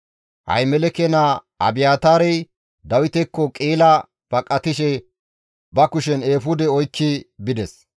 Ahimeleke naa Abiyaataarey Dawitekko Qi7ila baqatishe ba kushen eefude oykki bides.